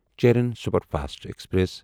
Cheran superfast express